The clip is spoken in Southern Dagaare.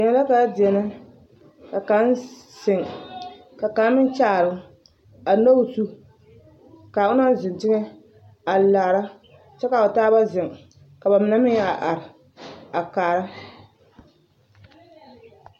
Deɛn la ka ba deɛnɛ ka kaŋ zeŋ ka kaŋ meŋ kyaare a nyɔɡe o zu ka a onaŋ zeŋ teŋɛ a laara kyɛ ka o taaba zeŋ ka ba mine meŋ a are a kaara.